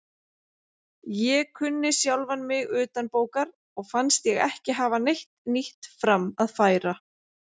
Ég kunni sjálfan mig utanbókar og fannst ég ekki hafa neitt nýtt fram að færa.